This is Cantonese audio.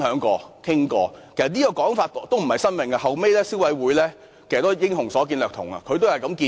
這其實也並非甚麼新構思，消費者委員會後來也是"英雄所見略同"，提出相同建議。